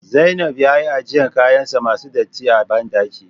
Zainab ya ajiye kayansa masu datti a bandaki